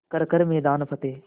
कर हर मैदान फ़तेह